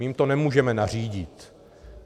My jim to nemůžeme nařídit.